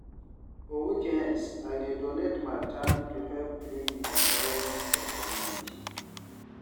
For weekends, I dey donate my time to help clean di environment for community.